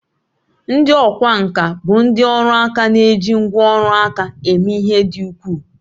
Ndị ọkwá nkà bụ ndị ọrụ aka na-eji ngwá ọrụ aka eme ihe dị ukwuu